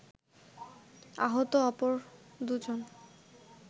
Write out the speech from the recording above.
আহত অপর দুজন